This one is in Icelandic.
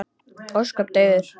Ósköp daufur.